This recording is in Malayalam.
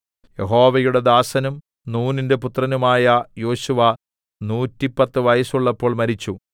യഹോവയുടെ ദാസനും നൂനിന്റെ പുത്രനുമായ യോശുവ നൂറ്റിപ്പത്ത് വയസ്സുള്ളപ്പോൾ മരിച്ചു